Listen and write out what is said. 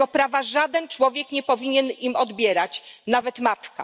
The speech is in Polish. Tego prawa żaden człowiek nie powinien im odbierać, nawet matka.